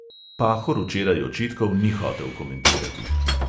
Pahor včeraj očitkov ni hotel komentirati.